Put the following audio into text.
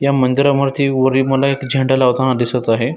या मंदिरा मरती वरी मला एक झेंडा लावताना दिसत आहे.